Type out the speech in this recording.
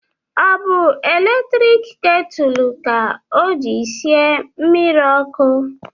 Ọ bụ eletrik ketulu ka o jiri sie mmiri ọkụ?